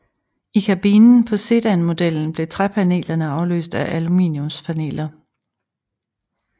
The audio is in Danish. I kabinen på sedanmodellen blev træpanelerne afløst af aluminiumspaneler